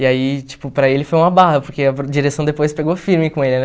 E aí, tipo, para ele foi uma barra, porque a direção depois pegou firme com ele, né?